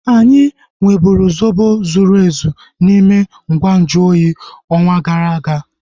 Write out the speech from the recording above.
Anyị nweburu zobo zuru ezu n'ime ngwa nju oyi ọnwa gara aga